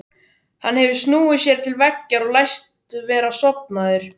Hann hefur snúið sér til veggjar og læst vera sofnaður.